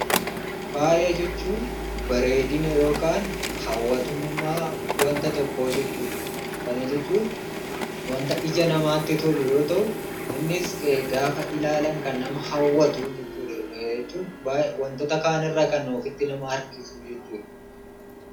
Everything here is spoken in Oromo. Faaya jechuun bareedina yookaan hawwatamummaa wanta tokkoo jechuudha. Kana jechuun wanta ija namaatti tolu yoo ta'u innis gaafa ilaalan kan nama hawwatu jechuudha. Jechuun wantoota kaanirraa kan ofitti nama harkisuu jechuudha.